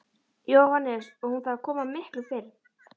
Jóhannes: Og hún þarf að koma miklu fyrr?